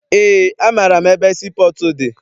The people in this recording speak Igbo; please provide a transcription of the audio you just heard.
Eé, amaara m ebe sii pọọtụ dị.